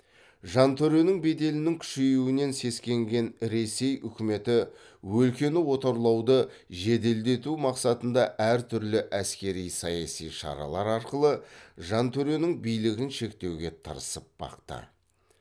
жантөренің беделінің күшеюінен сескенген ресей үкіметі өлкені отарлауды жеделдету мақсатында әр түрлі әскери саяси шаралар арқылы жантөренің билігін шектеуге тырысып бақты